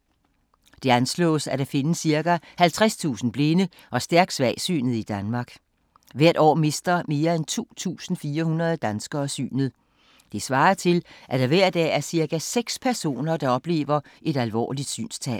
Det anslås, at der findes cirka 50.000 blinde og stærkt svagsynede i Danmark. Hvert år mister mere end 2.400 danskere synet. Det svarer til, at der hver dag er cirka seks personer, der oplever et alvorligt synstab.